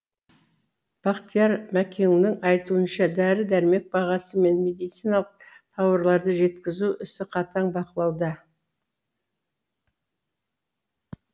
бақтияр мәкеннің айтуынша дәрі дәрмек бағасы мен медициналық тауарларды жеткізу ісі қатаң бақылауда